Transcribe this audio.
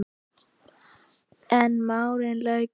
En málinu lauk ekki þar.